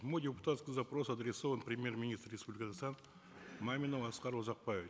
мой депутатский запрос адресован премьер министру республики казахстан мамину аскару узакбаевичу